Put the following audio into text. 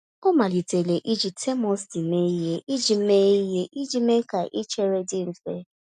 Ọ malitere iji termos tii mee ihe iji mee ihe iji mee ka ichere dị mfe.